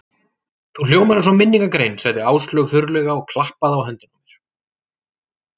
Þú hljómar eins og minningargrein sagði Áslaug þurrlega og klappaði á höndina á mér.